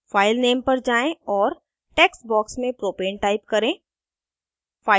file name पर जाएँ और text box में propane type करें